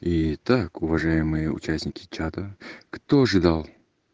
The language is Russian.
и так уважаемые участники чата кто же дал